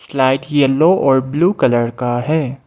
Slide yellow और blue colour का है।